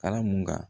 Ala mun ka